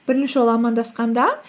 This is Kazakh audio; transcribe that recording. бірінші ол амандасқанда